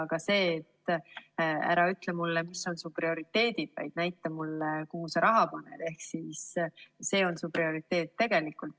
Ja ka see, et ära ütle mulle, mis on su prioriteedid, vaid näita mulle, kuhu sa raha paned, ehk see on tegelikult su prioriteet.